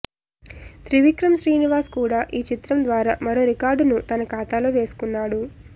త్రివిక్రమ్ శ్రీనివాస్ కూడా ఈ చిత్రం ద్వారా మరో రికార్డును తన ఖాతాలో వేసుకున్నాడు